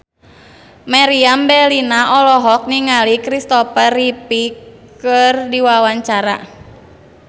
Meriam Bellina olohok ningali Kristopher Reeve keur diwawancara